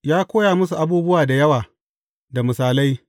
Ya koya musu abubuwa da yawa da misalai.